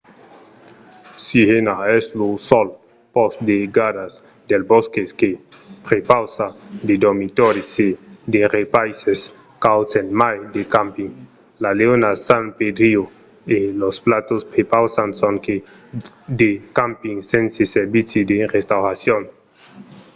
sirena es lo sol pòst de gardas dels bòsques que prepausa de dormitòris e de repaisses cauds a mai de camping. la leona san pedrillo e los patos prepausan sonque de camping sense servici de restauracion